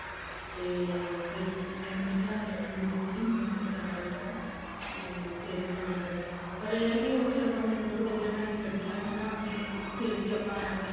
ਤੇ ਫ਼ੇਰ ਬੱਚਿਆਂ ਕਨੀ ਧਿਆਨ ਦੇਣਾ ਵੀ ਜਰੂਰੀ ਹੁੰਦਾ ਹੁਣ ਕਿਆ ਕਰੀਏ ਹਨਾ ਤੇ ਫ਼ੇਰ ਤਾਂ ਕਰਕੇ ਪਰ ਇਹ ਹੈ ਵੀ ਉੱਥੇ ਆਪਾਂ ਨੇ ਬਹੁਤ ਵਧੀਆ time ਕੱਡਿਆ ਵੀ ਫ਼ੇਰ ਵੀ ਆਪਾਂ ਏਵੇਂ